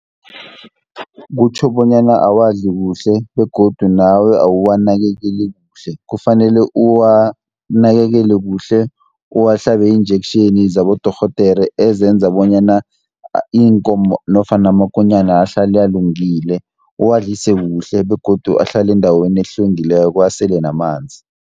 Kutjho bonyana awazi kuhle, begodu nawe awuwanakekeli kuhle. Kufanele uwanakekele kuhle, uwahlabe iin-injection zabodorhodere ezenza bonyana iinkomo nofana amakonyana ahlale alungile. Uwadlise kuhle, begodu ahlale endaweni ehlwengileko asele namanzi.